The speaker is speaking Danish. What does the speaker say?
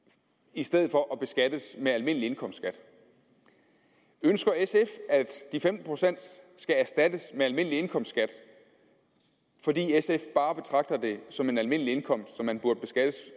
i stedet for at beskattes med almindelig indkomstskat ønsker sf at de femten procent skal erstattes med almindelig indkomstskat fordi sf bare betragter det som en almindelig indkomst som man burde beskattes